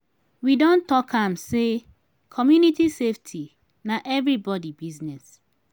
we don talk am sey community safety na everybodi business.